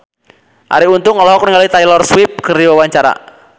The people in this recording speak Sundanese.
Arie Untung olohok ningali Taylor Swift keur diwawancara